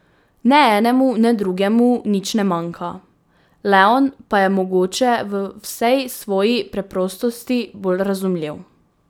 Ne enemu ne drugemu nič ne manjka, leon pa je mogoče v vsej svoji preprostosti bolj razumljiv.